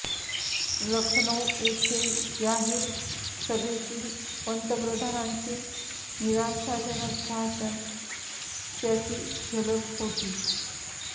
लखनऊ येथे जाहीर सभेतील पंतप्रधानांचे निराशाजनक भाषण त्याची झलक होती